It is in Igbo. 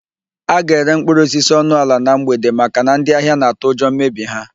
A ga-ere mkpụrụosisi ọnụ ala na mgbede maka ndị ahịa na-atụ ụjọ mmebi ha.